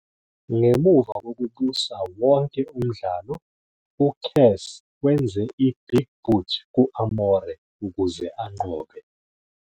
Ngemuva kokubusa wonke umdlalo, uCass wenze i-Big Boot ku-Amore ukuze anqobe.